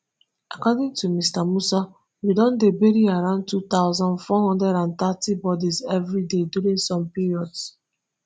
according to mr musa we don dey bury around two thousand, four hundred and thirty bodies everyday during some periods